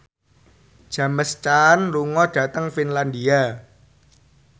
James Caan lunga dhateng Finlandia